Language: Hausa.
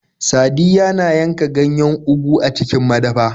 Sadiyya na yanka ganyen Ugu a cikin madafa.